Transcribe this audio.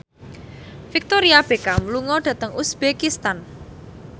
Victoria Beckham lunga dhateng uzbekistan